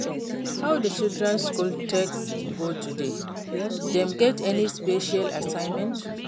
How di children school take go today? Dem get any special assignment?